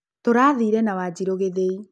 Tũrathiire na Wanjiru gĩthĩi